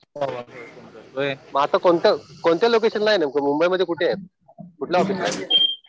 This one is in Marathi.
मग आता कोणत्या लोकेशनला आहे नेमकं? मुंबई मध्ये कुठे आहेत? कुठलं ऑफिसला आहे?